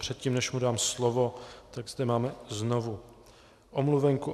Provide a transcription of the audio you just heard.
Předtím, než mu dám slovo, tak zde máme znovu omluvenku.